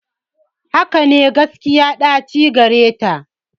Hakane, gaskiya ɗaci gareta.